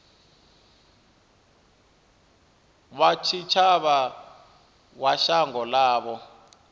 wa tshitshavha wa shango ḽavho